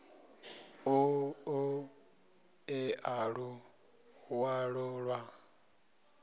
ḓo ṱo ḓea luṅwalo lwa